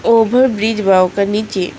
over bridge बा ओकर नीचे--